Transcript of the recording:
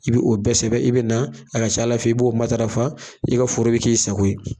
I b'o bɛɛ sɛbɛn, i bɛ na, a ka c'a la, i b'o matarafa, i ka foro bɛ k'i sago ye.